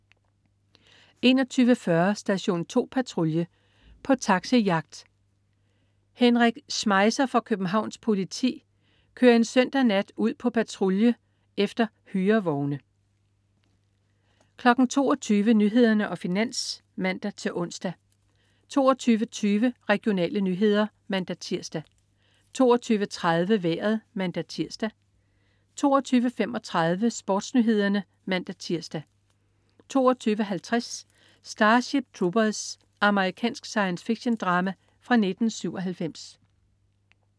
21.40 Station 2 Patrulje. På taxi-jagt. Henrik Schmeisser fra Københavns Politi kører en lørdag nat ud på patrulje efter hyrevogne 22.00 Nyhederne og Finans (man-ons) 22.20 Regionale nyheder (man-tirs) 22.30 Vejret (man-tirs) 22.35 SportsNyhederne (man-tirs) 22.50 Starship Troopers. Amerikansk science fiction-drama fra 1997